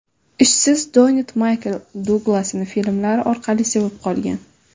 Ishsiz Donett Maykl Duglasni filmlari orqali sevib qolgan.